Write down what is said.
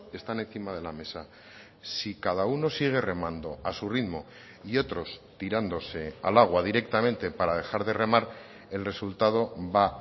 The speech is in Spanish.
están encima de la mesa si cada uno sigue remando a su ritmo y otros tirándose al agua directamente para dejar de remar el resultado va